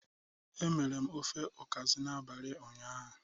E mere m ofe ukazi n'abalị ụnyaahụ.